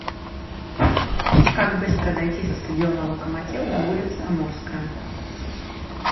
как быстро дойти со стадиона локомотив до улицы амурская